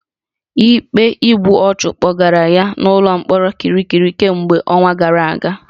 Ikpe igbu ọchụ kpọgara ya n'ụlọ mkpọrọ Kirikiri kemgbe ọnwa gara aga